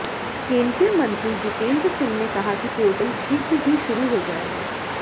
केंद्रीय मंत्री जितेंद्र सिंह ने कहा कि पोर्टल शीघ्र ही शुरू हो जाएगा